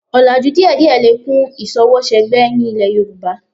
Ọlàjú díẹ̀díẹ̀ lè kún ìṣọwọ́ṣẹgbẹ́ ní ilẹ̀ Yorùbá